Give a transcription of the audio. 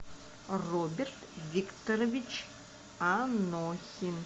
роберт викторович анохин